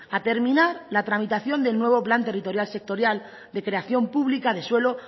a terminar la tramitación del nuevo plan territorial sectorial de creación pública de suelo